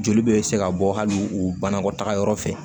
Joli bɛ se ka bɔ hali u banakɔtaga yɔrɔ fɛ